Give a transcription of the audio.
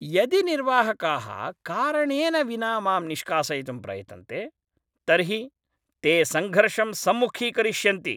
यदि निर्वाहकाः कारणेन विना मां निष्कासयितुं प्रयतन्ते तर्हि ते सङ्घर्षं सम्मुखीकरिष्यन्ति।